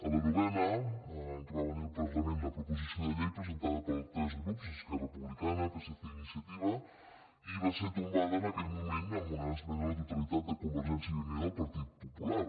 a la novena va venir al par·lament la proposició de llei presentada per tres grups esquerra republicana psc i iniciativa i va ser tom·bada en aquell moment amb una esmena a la totalitat de convergència i unió i del partit popular